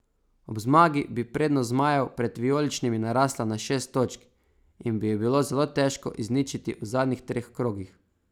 Ob zmagi bi prednost zmajev pred vijoličnimi narasla na šest točk in bi jo bilo zelo težko izničiti v zadnjih treh krogih.